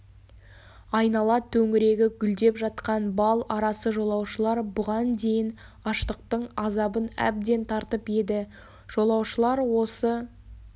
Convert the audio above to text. айнала төңірегі гүлдеп жатқан бал арасы жолаушылар бұған дейін аштықтың азабын әбден тартып еді жолаушылар осы